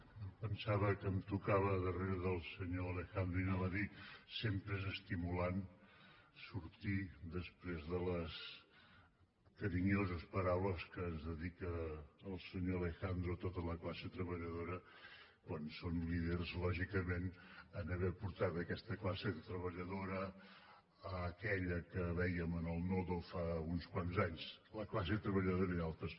em pensava que em tocava darrere del senyor alejandro i anava a dir que sempre és estimulant sortir després de les carinyoses paraules que ens dedica el senyor alejandro a tota la classe treballadora quan són líders lògicament a haver portat aquesta classe treballadora a aquella que vèiem en el nodo fa uns quants anys la classe treballadora i d’altres